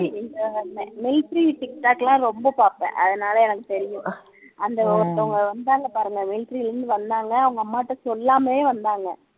இந்த military tic tag எல்லாம் ரொம்ப பாப்பேன் அதுனால எனக்கு தெரியும் அந்த ஒருத்தங்க வந்தாங்க பாருங்க military ல இருந்து வந்தாங்க அவங்க அம்மாகிட்ட சொல்லாமலே வந்தாங்க